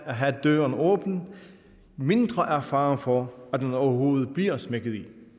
at have døren åben jo mindre er faren for at den overhovedet bliver smækket i